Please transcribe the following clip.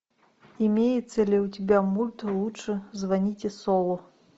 имеется ли у тебя мульт лучше звоните солу